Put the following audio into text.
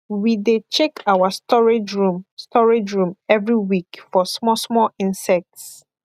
we dey check our storage room storage room every week for small small insects